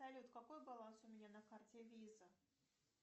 салют какой баланс у меня на карте виза